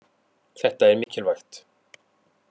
Þetta er mikilvægt